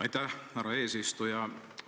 Aitäh, härra eesistuja!